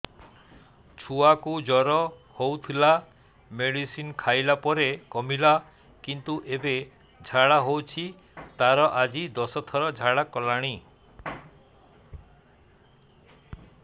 ଛୁଆ କୁ ଜର ହଉଥିଲା ମେଡିସିନ ଖାଇଲା ପରେ କମିଲା କିନ୍ତୁ ଏବେ ଝାଡା ହଉଚି ତାର ଆଜି ଦଶ ଥର ଝାଡା କଲାଣି